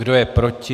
Kdo je proti?